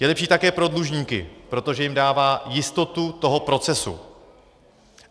Je lepší také pro dlužníky, protože jim dává jistotu toho procesu.